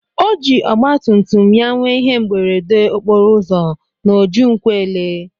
Oji ogba tumtum ya nwee ihe mberede okporo ụzọ na oji nkwelle.